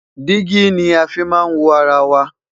digi ní a fí má n wọ ará wà